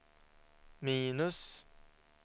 minus